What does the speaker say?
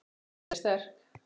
Hefðin er sterk.